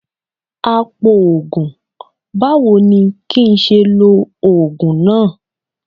Apòògùn, báwo ni kín ṣe lo Ògùn náà?